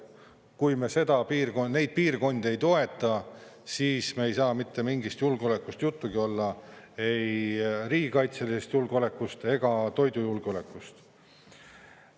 Kui me neid piirkondi ei toeta, siis meil ei saa mitte mingist julgeolekust juttugi olla – ei riigikaitselisest julgeolekust ega toidujulgeolekust.